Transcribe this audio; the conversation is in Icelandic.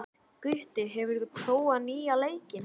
Gutti, hefur þú prófað nýja leikinn?